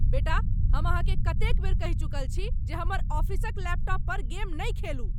बेटा, हम अहाँकेँ कतेक बेर कहि चुकल छी जे हमर ऑफिसक लैपटॉप पर गेम नहि खेलू?